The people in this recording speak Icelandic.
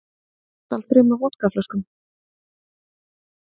Stal þremur vodkaflöskum